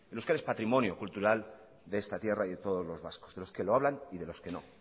el euskera es patrimonio cultural de esta tierra y de todos los vascos de los que lo hablan y de los que no